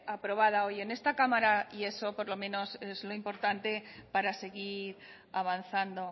aprobada hoy en esta cámara y eso por lo menos es lo importante para seguir avanzando